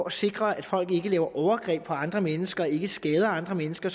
at sikre at folk ikke begår overgreb på andre mennesker og ikke skader andre mennesker